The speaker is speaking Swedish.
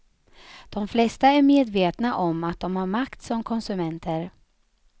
De flesta är medvetna om att de har makt som konsumenter.